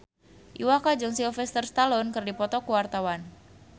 Iwa K jeung Sylvester Stallone keur dipoto ku wartawan